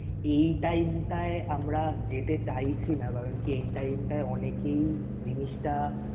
এই time টায় আমরা যেতে চাইছি না কারন কি এই time টায় অনেকেই জিনিসটা